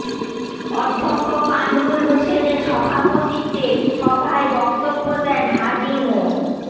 অধ্যক্ষ কামরুল হোসেনের সভাপতিত্বে সভায় বক্তব্য দেন হাজী মো